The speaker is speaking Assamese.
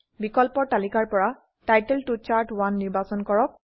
বিকল্পৰ তালিকাৰ পৰা টাইটেল ত চাৰ্ট1 নিৰ্বাচন কৰক